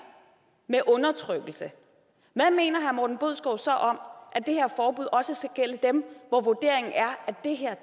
med undertrykkelse hvad mener herre morten bødskov så om at det her forbud også skal gælde dem hvor vurderingen er at det